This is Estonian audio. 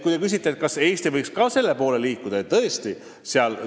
Te küsite, kas Eesti võiks selleski valdkonnas edasi liikuda.